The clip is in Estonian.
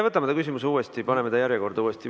Võtame selle küsimuse uuesti, paneme uuesti järjekorda.